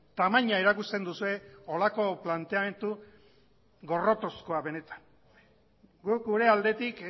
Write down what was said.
tamaina erakusten duzue horrelako planteamendu gorrotozkoa benetan guk gure aldetik